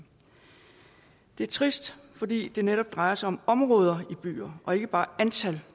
det er trist fordi det netop drejer sig om områder i byer og ikke bare et antal